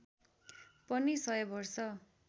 पनि सय वर्ष